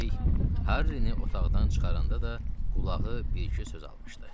Üstəlik, Harrisi otaqdan çıxaranda da qulağı bir-iki söz almışdı.